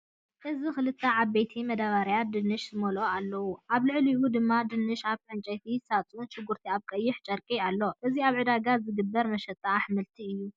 እዚ ክልተ ዓበይቲ መደበርያታት ድንሽ ዝመልኣ ኣለዋ፤ ኣብ ልዕሊኡ ድማ ድንሽ ኣብ ዕንጨይቲ ሳጹንን ሽጉርቲን ኣብ ቀይሕ ጨርቂ ኣሎ። እዚ ኣብ ዕዳጋ ዝግበር መሸጣ ኣሕምልቲ'ዩ።